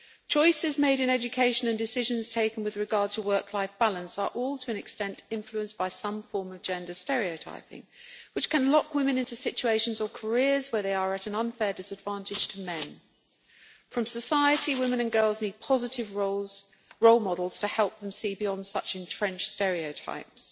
Choices made in education and decisions taken with regard to work life balance are all, to an extent, influenced by some form of gender stereotyping which can lock women into situations or careers where they are at an unfair disadvantage to men. From society, women and girls need positive role models to help them see beyond such entrenched stereotypes.